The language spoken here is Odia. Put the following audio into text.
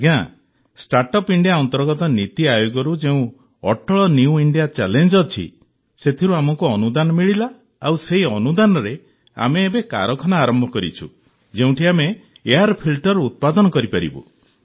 ଆଜ୍ଞା ଷ୍ଟାର୍ଟଅପ୍ ଇଣ୍ଡିଆ ଅନ୍ତର୍ଗତ ନୀତି ଆୟୋଗରୁ ଯେଉଁ ଅଟଳ ନିଉ ଇଣ୍ଡିଆ ଚ୍ୟାଲେଞ୍ଜ୍ ଅଛି ସେଥିରୁ ଆମକୁ ଅନୁଦାନ ମିଳିଲା ଆଉ ସେହି ଅନୁଦାନରେ ଆମେ ଏବେ କାରଖାନା ଆରମ୍ଭ କରିଛୁ ଯେଉଁଠି ଆମେ ଏୟାର୍ ଫିଲ୍ଟର ଉତ୍ପାଦନ କରିପାରିବୁ